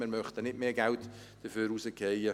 Wir möchten nicht mehr Geld dafür rauswerfen.